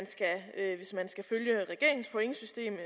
skal følge regeringens pointsystem